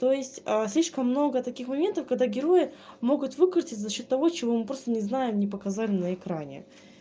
то есть ээ слишком много таких моментов когда герои могут выкрутится за счёт того чего мы просто не знаем не показали на экране